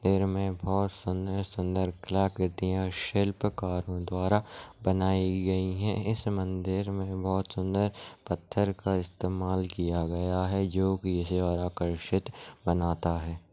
मंदिर मे बहोत सुंदर सुंदर कलाकृतिया शिल्पकारों द्वारा बनाई गई है इस मंदिर मे बहोत सुन्दर पत्थर का इस्तेमाल किया गया है जो कि इसे और आकर्षित बनाता है।